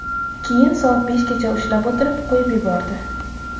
Keyin soat beshgacha ushlab o‘tirib, qo‘yib yubordi.